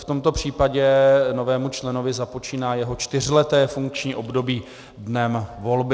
V tomto případě novému členovi započíná jeho čtyřleté funkční období dnem volby.